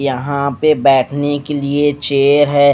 यहां पे बैठने के लिए चेयर है।